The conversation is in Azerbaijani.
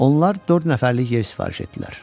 Onlar dörd nəfərlik yer sifariş etdilər.